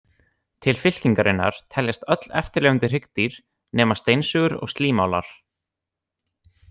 Til fylkingarinnar teljast öll eftirlifandi hryggdýr nema steinsugur og slímálar.